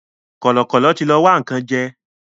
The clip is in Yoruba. Kọ̀lọ̀kọ̀lọ̀ tí lọ wá nǹkan jẹ́